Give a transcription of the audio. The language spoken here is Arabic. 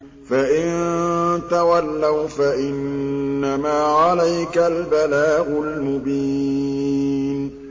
فَإِن تَوَلَّوْا فَإِنَّمَا عَلَيْكَ الْبَلَاغُ الْمُبِينُ